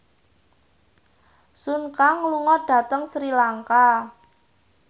Sun Kang lunga dhateng Sri Lanka